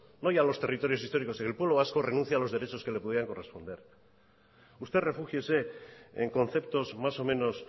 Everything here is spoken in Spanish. no ya los territorios históricos sino el pueblo vasco renuncie a los derechos que le pudieran corresponder usted refúgiese en conceptos más o menos